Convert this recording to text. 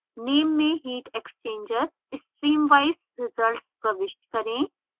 name में heat exchanger – stream wise results प्रविष्ट करें